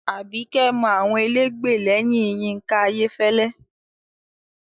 Àbíkẹ́ mọ àwọn elégbè lẹ́yìn Yínká Ayéfẹ́lẹ́